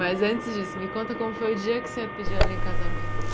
Mas antes disso, me conta como foi o dia que você pediu ela em casamento?